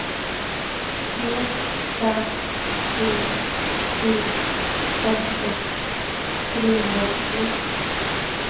tre fem sju sju femtiosex trehundraåttiotre